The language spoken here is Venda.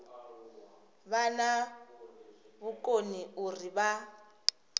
vha na vhukoni uri vha